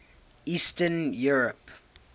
eastern europe